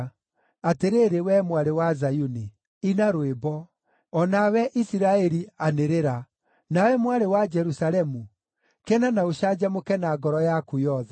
Atĩrĩrĩ, wee Mwarĩ wa Zayuni, ina rwĩmbo; o nawe, Isiraeli anĩrĩra! Nawe Mwarĩ wa Jerusalemu kena na ũcanjamũke na ngoro yaku yothe!